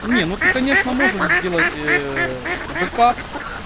не ну ты конечно можешь сделать ээ бэкап